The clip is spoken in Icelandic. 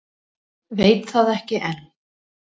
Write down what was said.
Veit það ekki enn.